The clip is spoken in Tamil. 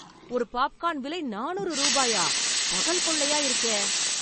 ஒரு பாப்கான் விலை நானூறு ரூபாயா பகல் கொள்ளையா இருக்கே.